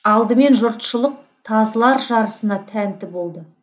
алдымен жұртшылық тазылар жарысына тәнті болды